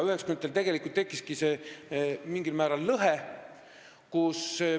See lõhe tegelikult tekkiski mingil määral 1990-ndatel.